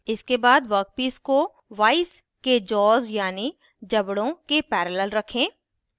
इसके बाद वर्कपीस को वाइस के जॉज़ यानी जबड़े के पैरेलल रखें